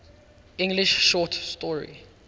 english short story